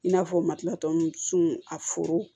I n'a fɔ matilatɔn su a foro